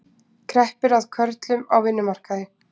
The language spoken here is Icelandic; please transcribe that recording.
Kreppir að körlum á vinnumarkaði